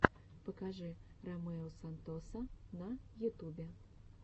покажи ромео сантоса на ютубе